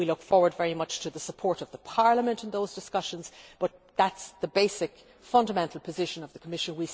We look forward very much to the support of Parliament in those discussions, but that is the basic fundamental position of the Commission.